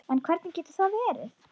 En hvernig getur það verið?